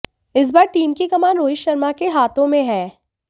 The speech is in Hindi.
इस बार टीम की कमान रोहित शर्मा के हाथों में हैं